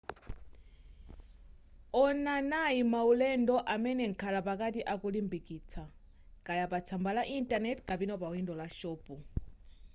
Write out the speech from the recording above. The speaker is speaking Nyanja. onanai maulendo amene mkhalapakati akulimbikitsa kaya pa tsamba la intaneti kapena pawindo la shopu